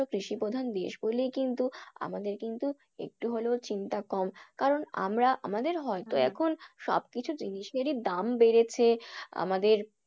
কৃষিপ্রধান দেশ বলেই কিন্তু আমাদের কিন্তু একটু হলেও চিন্তা কম। কারণ আমরা আমাদের এখন সবকিছু জিনিসেরই দাম বেড়েছে। আমাদের